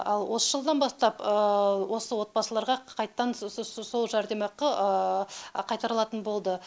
ал осы жылдан бастап осы отбасыларға қайттан сол жәрдемақы қайтарылатын болды